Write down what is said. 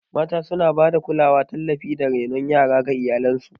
Mata suna ba da kulawa, tallafi, da renon yara ga iyalansu